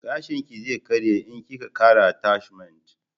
Gashin ki zai karye in ki ka kara atashmant